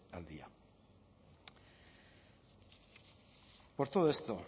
al día por todo esto